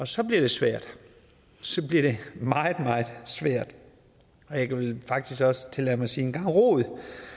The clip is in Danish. så bliver det svært så bliver det meget meget svært og jeg kan vel faktisk også tillade mig at sige en gang rod